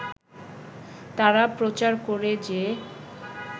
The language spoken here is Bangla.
তারা প্রচার করে যে